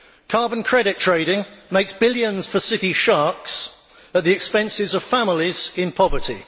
Carbon credit trading makes billions for City sharks at the expense of families in poverty.